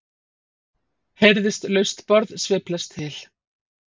heyrðist laust borð sveiflast til.